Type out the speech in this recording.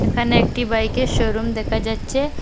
এখানে একটি বাইকের শোরুম দেখা যাচ্চে ।